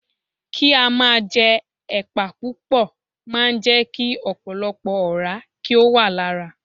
Kí á máa jẹ ẹ̀pà púpò máa ń jẹ́ kí ọ̀pọ̀lọpọ̀ ọ̀rá kí ó wà lára.